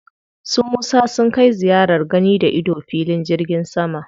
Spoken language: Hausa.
Su Musa sun kai ziyarar gani-da-ido filin jirgin sama.